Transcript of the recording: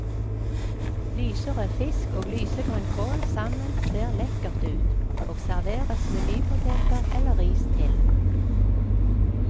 Lyserød fisk og lysegrønn kål sammen ser lekkert ut, og serveres med nypoteter eller ris til.